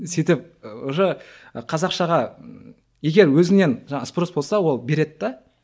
сөйтіп уже қазақшаға егер өзіңнен жаңағы спрос болса ол береді де